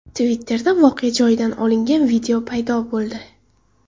Twitter’da voqea joyidan olingan video paydo bo‘ldi.